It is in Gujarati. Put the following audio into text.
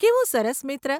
કેવો સરસ મિત્ર!